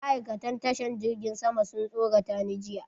Ma'aikatan tashan jirgin sama sun tsorata ni jiya.